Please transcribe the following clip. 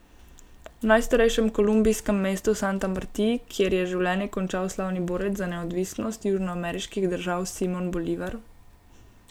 V najstarejšem kolumbijskem mestu Santa Marti, kjer je življenje končal slavni borec za neodvisnost južnoameriških držav Simon Bolivar.